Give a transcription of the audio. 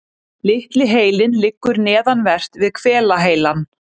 Litli heilinn liggur neðanvert við hvelaheilann.